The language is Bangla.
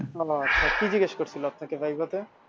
কি জিজ্ঞেস করছিল আপনাকে viva তে।